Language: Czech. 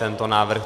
Tento návrh